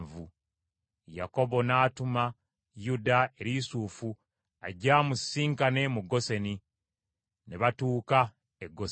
Yakobo n’atuma Yuda eri Yusufu ajje amusisinkane mu Goseni, ne batuuka e Goseni.